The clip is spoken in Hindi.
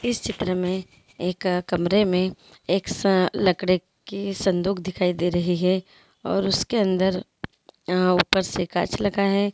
इस चित्र में एक कमरे में एक सा लकड़े की संदूक दिखाई दे रही है और उसके अंदर ऊपर से काँच लाग है।